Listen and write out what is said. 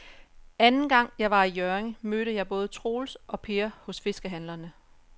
Anden gang jeg var i Hjørring, mødte jeg både Troels og Per hos fiskehandlerne.